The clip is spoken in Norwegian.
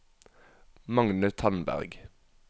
Magne Tandberg